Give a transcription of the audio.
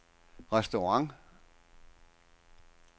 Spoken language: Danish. restaurant